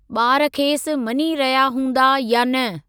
ॿार खेसि मञी रहिया हूंदा या न।